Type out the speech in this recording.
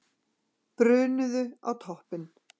Brunuðu á toppinn